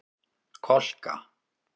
Kolka